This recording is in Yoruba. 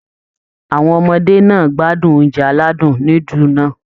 Àwọn ọmọdé náà á gbádùn oúnjẹ aládùn núdù náà